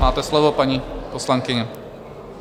Máte slovo, paní poslankyně.